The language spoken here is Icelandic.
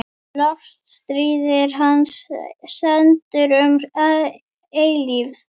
Lofstír hans stendur um eilífð.